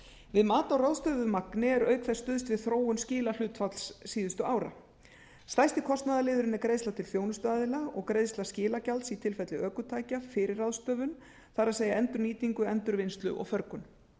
við mat á ráðstöfuðu magni er auk þess stuðst við þróun skilahlutfalls síðustu ára stærsti kostnaðarliðurinn er greiðsla til þjónustuaðila og greiðsla skilagjalds í tilfelli ökutækja fyrir ráðstöfun það endurnýtingu endurvinnslu og förgun